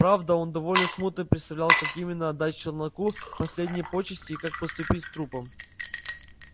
правда он довольно смутно представлял как именно отдать челноку последние почести и как поступить с трупом